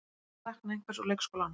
Að sakna einhvers úr leikskólanum